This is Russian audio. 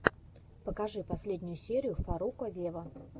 покажи последнюю серию фарруко вево